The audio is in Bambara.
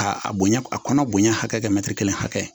K'a bonya a kɔnɔ bonya hakɛ mɛ kelen hakɛ